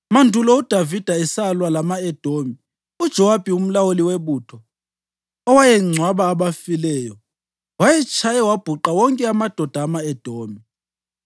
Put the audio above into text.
Mandulo uDavida esalwa lama-Edomi, uJowabi umlawuli webutho, owayengcwaba abafileyo, wayetshaye wabhuqa wonke amadoda ama-Edomi.